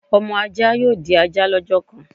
Ọmọ ajá yóò di ajá lọ́jọ́ kan